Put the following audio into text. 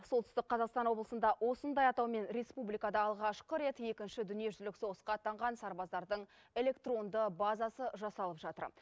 солтүстік қазақстан облысында осындай атаумен республикада алғашқы рет екінші дүниежүзілік соғысқа аттанған сарбаздардың электронды базасы жасалып жатыр